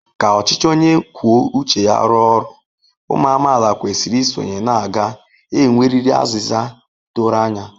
Ka ọchịchị onye kwuo uche ya rụọ ọrụ, ụmụ amaala kwesịrị isonye na a ga-enwerịrị azịza doro anya.